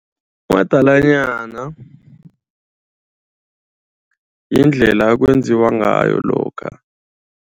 Umadalanyana yindlela kwenziwa ngayo lokha.